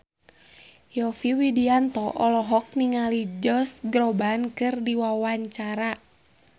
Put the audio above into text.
Yovie Widianto olohok ningali Josh Groban keur diwawancara